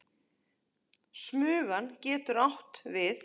Smugan getur átt við